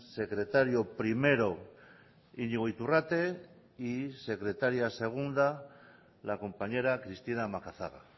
secretario primero iñigo iturrate y secretaria segunda la compañera cristina macazaga